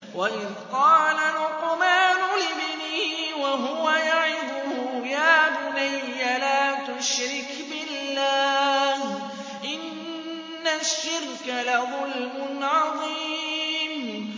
وَإِذْ قَالَ لُقْمَانُ لِابْنِهِ وَهُوَ يَعِظُهُ يَا بُنَيَّ لَا تُشْرِكْ بِاللَّهِ ۖ إِنَّ الشِّرْكَ لَظُلْمٌ عَظِيمٌ